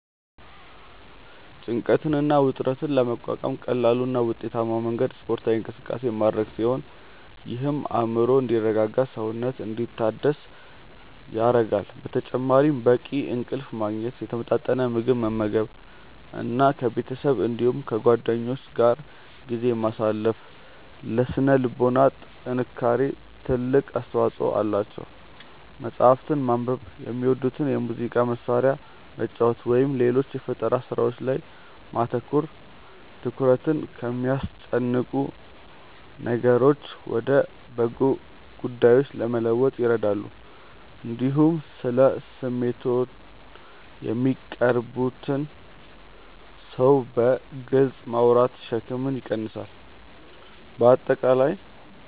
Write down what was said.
ጭንቀትን እና ውጥረትን ለመቋቋም ቀላሉ እና ውጤታማው መንገድ ስፖርታዊ እንቅስቃሴ ማድረግ ሲሆን ይህም አእምሮ እንዲረጋጋና ሰውነት እንዲታደስ ይረዳል። በተጨማሪም በቂ እንቅልፍ ማግኘት፣ የተመጣጠነ ምግብ መመገብ እና ከቤተሰብ እንዲሁም ከጓደኞች ጋር ጊዜ ማሳለፍ ለሥነ ልቦና ጥንካሬ ትልቅ አስተዋጽኦ አላቸው። መጽሐፍትን ማንበብ፣ የሚወዱትን የሙዚቃ መሣሪያ መጫወት ወይም ሌሎች የፈጠራ ሥራዎች ላይ ማተኮር ትኩረትን ከሚያስጨንቁ ነገሮች ወደ በጎ ጉዳዮች ለመለወጥ ይረዳሉ። እንዲሁም ስለ ስሜቶችዎ ለሚቀርቡዎት ሰው በግልጽ ማውራት ሸክምን ይቀንሳል። በአጠቃላይ